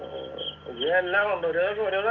ഇത് എല്ലാം ഉണ്ട് ഒരുസ ഒരോന്നാ